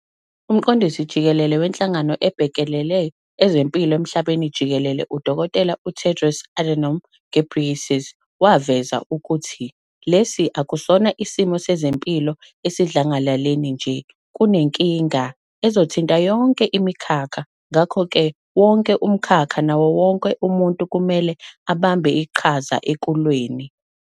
Umqondisi jikelele wenhlangano ebhekele ezempilo emhlabeni jikelele, uDkt Tedros Adhanom Ghebreyesus, waveza ukuthi, "Lesi akusona isimo sezempilo esidlangalaleni nje, kunenkinga ezothinta yonke imikhakha - ngakho-ke wonke umkhakha nawo wonke umuntu kumele abambe iqhaza ekulweni."